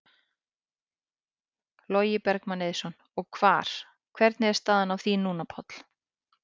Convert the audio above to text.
Logi Bergmann Eiðsson: Og hvar, hvernig er staðan á því núna, Páll?